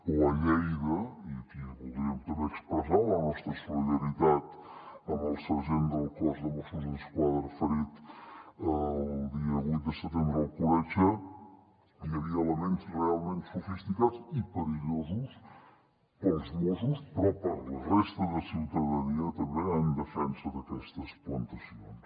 o a lleida i aquí voldríem també expressar la nostra solidaritat amb el sergent del cos de mossos d’esquadra ferit el dia vuit de setembre a alcoletge hi havia elements realment sofisticats i perillosos per als mossos però per a la resta de ciutadania també en defensa d’aquestes plantacions